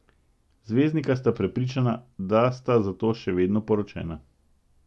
Zvezdnika sta prepričana, da sta zato še vedno poročena.